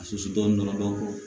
A susu dɔɔni dɔɔni